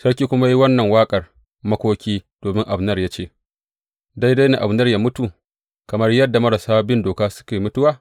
Sarki ya kuma yi wannan waƙar makoki domin Abner ya ce, Daidai ne Abner yă mutu, kamar yadda marasa bin doka suke mutuwa?